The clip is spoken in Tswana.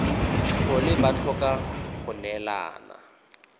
tlhole ba tlhoka go neelana